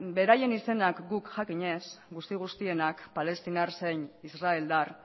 beraien izenak guk jakin ez guzti guztienak palestinar zein israeldar